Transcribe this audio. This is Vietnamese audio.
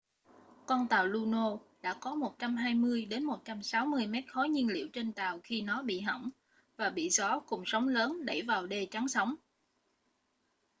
con tàu luno đã có 120 - 160 mét khối nhiên liệu trên tàu khi nó bị hỏng và bị gió cùng sóng lớn đẩy vào đê chắn sóng